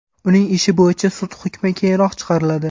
Uning ishi bo‘yicha sud hukmi keyinroq chiqariladi.